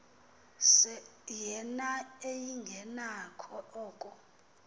yena engenakho oko